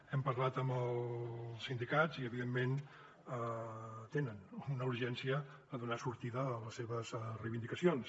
hem parlat amb els sindicats i evidentment tenen una urgència a donar sortida a les seves reivindicacions